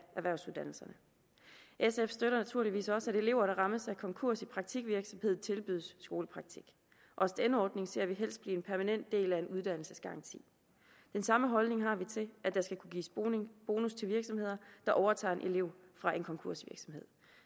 erhvervsuddannelserne sf støtter naturligvis også at elever der rammes af konkurs i praktikvirksomheden tilbydes skolepraktik også denne ordning ser vi helst bliver en permanent del af en uddannelsesgaranti den samme holdning har vi til at der skal kunne gives bonus til virksomheder der overtager en elev fra en konkursvirksomhed